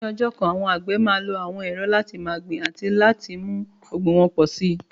Ní ọjọ́ kan, àwọn àgbẹ̀ máa lo àwọn ẹ̀rọ láti máa gbin àti láti mú ọ̀gbìn wọn pọ̀ sí i.